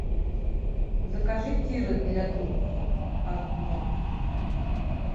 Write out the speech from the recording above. закажи тирет для труб одну